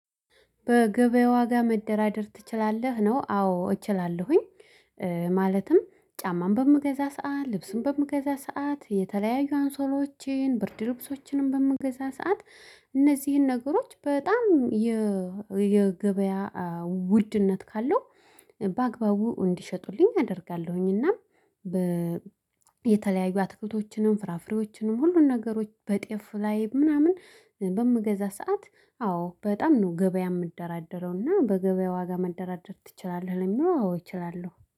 በገበያ ዋጋ መደራደር ትችላለህ ነው አዎ እችላለሁኝ። ማለትም ጫማን በምገዛ ሰዓት ልብስን በምገዛ ሰዓት የተለያዩ አንሶላዎችን ብርድ ልብሶችንም በምገዛ ሰዓት እነዚህን ነገሮች በጣም የገበያ ውድነት ካለው በአግባቡ እንዲሸጡልኝ አደርጋለሁኝ። እና የተለያዩ አትክልቶችንም ፍራፍሬዎችንም ሁሉን ነገሮች በጤፍ ላይ ምናምን በምገዛ ሰዓት። አዎ በጣም ነው። ገበያ ምደራደረው እና በገበያ ዋጋ መደራደር ትችላለህ? ለሚለው አዎ እችላለሁ